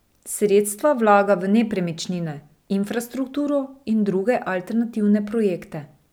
Sredstva vlaga v nepremičnine, infrastrukturo in druge alternativne projekte.